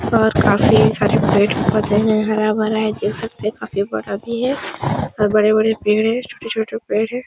और काफी सारे पेड़-पोधे हैं हरा भरा है देख सकते हैं काफी बड़ा भी है और बड़े-बड़े पेड़ हैं छोटे-छोटे पेड़ हैं।